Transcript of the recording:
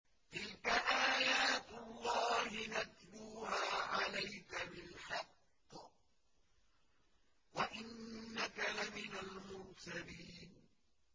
تِلْكَ آيَاتُ اللَّهِ نَتْلُوهَا عَلَيْكَ بِالْحَقِّ ۚ وَإِنَّكَ لَمِنَ الْمُرْسَلِينَ